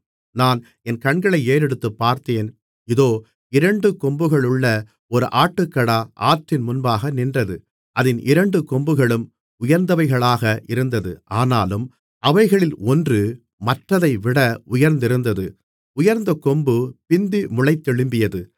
நான் என் கண்களை ஏறெடுத்துப்பார்த்தேன் இதோ இரண்டு கொம்புகளுள்ள ஒரு ஆட்டுக்கடா ஆற்றின் முன்பாக நின்றது அதின் இரண்டு கொம்புகளும் உயர்ந்தவைகளாக இருந்தது ஆனாலும் அவைகளில் ஒன்று மற்றதைவிட உயர்ந்திருந்தது உயர்ந்தகொம்பு பிந்தி முளைத்தெழும்பியது